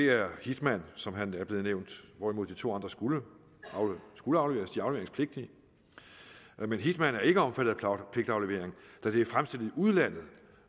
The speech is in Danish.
er hitman som er blevet nævnt hvorimod de to andre skulle skulle afleveres de er afleveringspligtige men hitman er ikke omfattet af pligtaflevering da det er fremstillet i udlandet